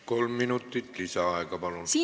Kolm minutit lisaaega, palun!